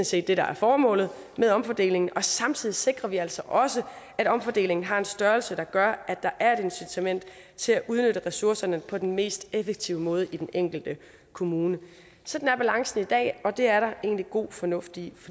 set det der er formålet med omfordelingen og samtidig sikrer vi altså også at omfordelingen har en størrelse der gør at der er et incitament til at udnytte ressourcerne på den mest effektive måde i den enkelte kommune sådan er balancen i dag og det er der egentlig god fornuft i